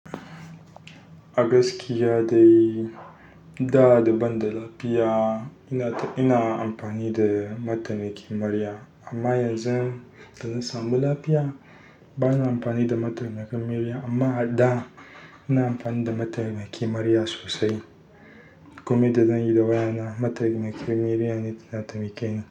A gaskiya dai duk da daban da lafiya ina, ina amfani da mataimakin murya. Amma yanzu da na samu lafiya bana amfani da mataimakin murya. Amma a da ina amfani da mataimakin murya sosai. Koma da zan yi da waya na, maitamakin murya ne na taimaki ni.